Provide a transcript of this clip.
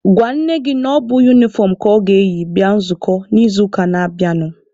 Gwa nne gị na ọ bụ unifọm ka ọ ga-eyi bịa nzukọ n'izuụka na-abịanụ!.